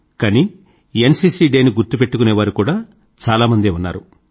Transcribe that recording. కానీ NCC day ని గుర్తుపెట్టుకునేవారు కూదా చాలా మందే ఉన్నారు